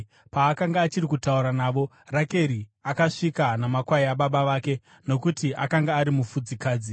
Paakanga achiri kutaura navo, Rakeri akasvika namakwai ababa vake, nokuti akanga ari mufudzikadzi.